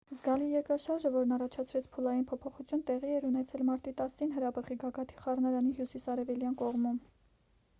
զգալի երկրաշարժը որն առաջացրեց փուլային փոփոխություն տեղի էր ունեցել մարտի 10-ին հրաբխի գագաթի խառնարանի հյուսիսարևելյան կողմում